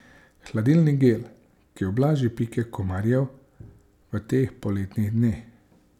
Hladilni gel, ki ublaži pike komarjev v teh poletnih dneh.